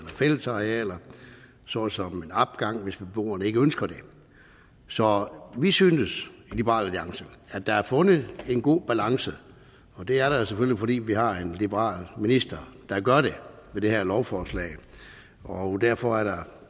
fællesarealer såsom en opgang hvis beboerne ikke ønsker det så vi synes i liberal alliance at der er fundet en god balance det er der selvfølgelig fordi vi har en liberal minister der gør det med det her lovforslag derfor er der